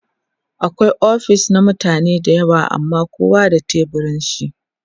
akwai ofis na mutane da yawa amma kowa da teburin shi